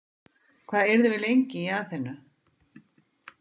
Hvað yrðum við lengi í Aþenu?